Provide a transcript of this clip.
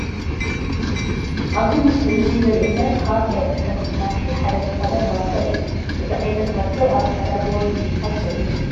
ኣብዚ ምስሊ እዚ ዘሪኤና ካብ ናይ ፅሕፈት መሳርሒ ሓደ ዝኾነ ማርከር እዩ፡፡ እዚ ዓይነት ማርከር ኣብ ፃዕዳ ቦርድ ንምፅሓፍ ዝጠቅም እዩ፡፡